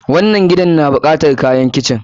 wannann gidan na bukatar kayan kitchen.